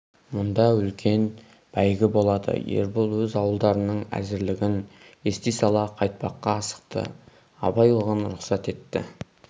мұнда үлкен бәйгі болады ербол өз ауылдарының әзірлігін ести сала қайтпаққа асықты абай оған рұхсат етті